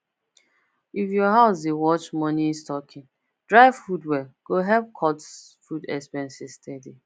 if your house dey watch money stocking dry food well go help cut food expenses steady